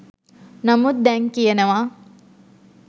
නමුත් දැන් කියනවා